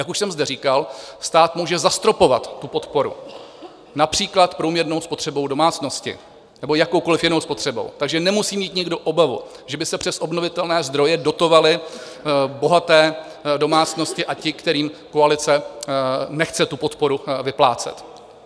Jak už jsem zde říkal, stát může zastropovat tu podporu, například průměrnou spotřebou domácnosti nebo jakoukoliv jinou spotřebou, takže nemusí mít nikdo obavu, že by se přes obnovitelné zdroje dotovaly bohaté domácnosti, a ti, kterým koalice nechce tu podporu vyplácet.